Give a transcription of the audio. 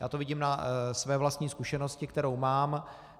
Já to vidím na své vlastní zkušenosti, kterou mám.